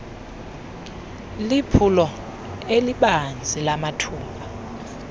liphulo elibanzi lamathuba